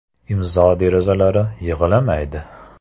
Imzo derazalari “yig‘lamaydi”.